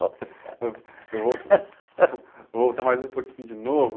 Volta... ão, eu vou, vou voltar mais um pouquinho de novo.